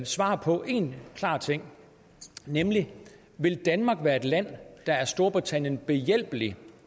svar på én klar ting nemlig vil danmark være et land der er storbritannien behjælpelig